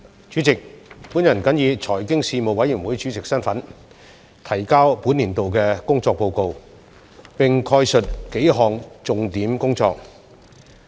主席，我謹以財經事務委員會主席身份，提交本年度的工作報告，並概述數項重點工作。